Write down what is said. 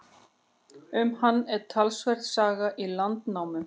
Um hann er talsverð saga í Landnámu.